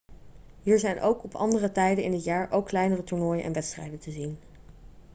hier zijn op andere tijden in het jaar ook kleinere toernooien en wedstrijden te zien